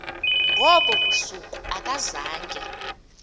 ngobo busuku akazange